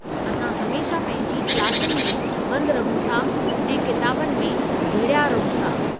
असां हमेशह पंहिंजी क्लासुनि में बंद रहूं था ऐं किताबुनि में घिड़या रहूं था।